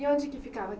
E onde que ficava?